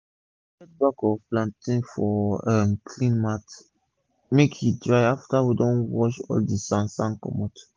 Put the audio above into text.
we dey spread back of plantain for um clean mat make e dry afta we don wash all d sand sand comot